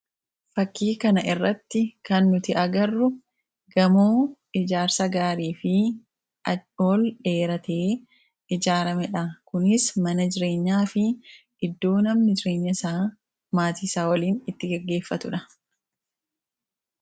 fakkii kana irratti kan nuti agarru gamoo ijaarsa gaarii fi ol dheeratee ijaarame dha kunis manajireenyaa fi iddoo namnajireenya isa maatiisaa waliin itti geggeeffatudha